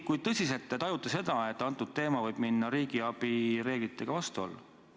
Kui tõsiselt te tajute, et antud teema võib minna riigiabi reeglitega vastuollu?